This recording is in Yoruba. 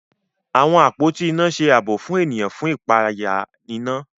Àwọn àpótí iná ṣe ààbò fún ènìyàn fún ipaya iná